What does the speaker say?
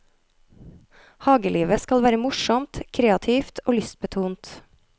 Hagelivet skal være morsomt, kreativt og lystbetont.